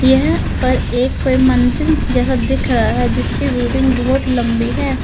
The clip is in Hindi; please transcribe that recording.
यहां पर एक कोई मंदिर जैसा दिख रहा है जिसकी बिल्डिंग बहोत लंबी है।